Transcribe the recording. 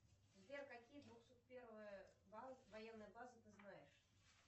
сбер какие двухсот первые военные базы ты знаешь